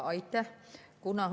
Aitäh!